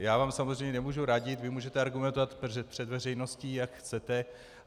A já vám samozřejmě nemohu radit, vy můžete argumentovat před veřejností, jak chcete.